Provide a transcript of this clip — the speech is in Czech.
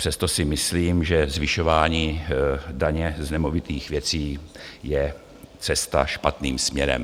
Přesto si myslím, že zvyšování daně z nemovitých věcí je cesta špatným směrem.